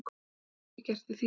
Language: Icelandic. En hvað get ég gert í því.